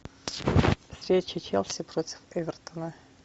встреча челси против эвертона